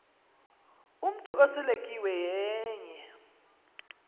umntu oseletyiwe yenye